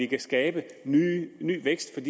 kan skabe ny vækst